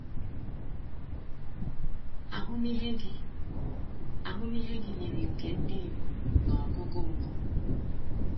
Ahụmịhe gị Ahụmịhe gị yiri nke ndị Igbo n’ọgụgụ mbụ.